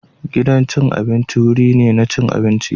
Gidan cin abinci wuri ne na cin abinci.